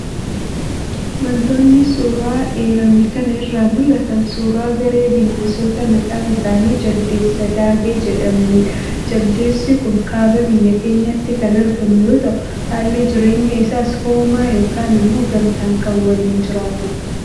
Wantoonni suuraa eerame kana irraa mul'atan, suuraa garee bineensota maqaan isaanii Jaldeessa Daabee jedhamanidha. Jaldeessi kun kaaba biyya keenyaatti kan argamu yoo ta'u, haalli jireenya isaas hoomaa yookaan ammoo gamtaan kan waliin jiraatudha.